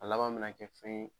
A laban mi na kɛ fɛn ye